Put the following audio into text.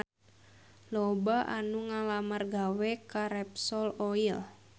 Loba anu ngalamar gawe ka Repsol Oil